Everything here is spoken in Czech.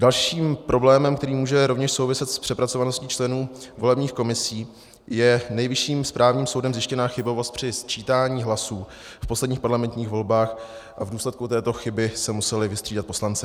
Dalším problémem, který může rovněž souviset s přepracovaností členů volebních komisí, je Nejvyšším správním soudem zjištěná chybovost při sčítání hlasů v posledních parlamentních volbách a v důsledku této chyby se museli vystřídat poslanci.